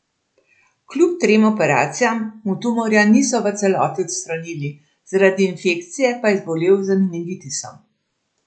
Kljub trem operacijam mu tumorja niso v celoti odstranili, zaradi infekcije pa je zbolel za meningitisom.